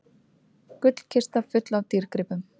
Gullkista full af dýrgripum